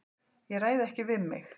Ég ræð ekki við mig.